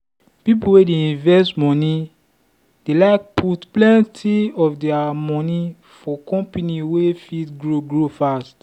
people wey dey invest money dey like put plenty of their money for company wey fit grow grow fast.